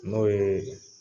N'o yee